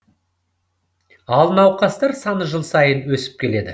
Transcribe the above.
ал науқастар саны жыл сайын өсіп келеді